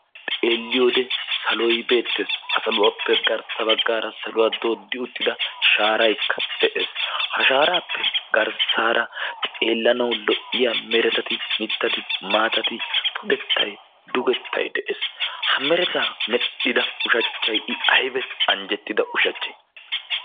Xeelliyode saloyi beettes. Ha saluwappe garssa baggaara saluwa dooddi uttida shaaraykka de"es. Ha shaaraappe garssaara xeellanawu lo"iya meretati mittati, maatati, pudettayi, dugettayi de"es. Ha meretaa medhdhida ushachchayi ayba anjjettida ushachchee.